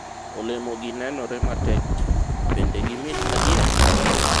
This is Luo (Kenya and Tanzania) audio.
olemo gi nenore matek ti, bende gimit adiera?